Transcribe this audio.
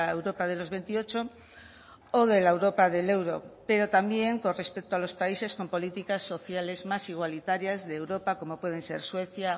europa de los veintiocho o de la europa del euro pero también con respecto a los países con políticas sociales más igualitarias de europa como pueden ser suecia